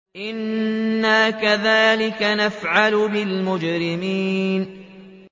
إِنَّا كَذَٰلِكَ نَفْعَلُ بِالْمُجْرِمِينَ